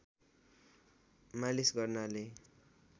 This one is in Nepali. मालिस गर्नाले